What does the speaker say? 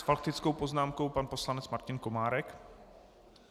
S faktickou poznámkou pan poslanec Martin Komárek.